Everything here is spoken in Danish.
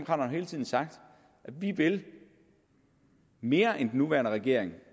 har hele tiden sagt at vi vil mere end den nuværende regering